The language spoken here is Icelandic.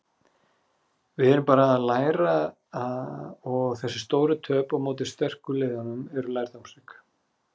Við erum bara að læra og þessi stóru töp á móti sterku liðunum voru lærdómsrík.